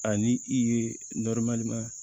Ani i ye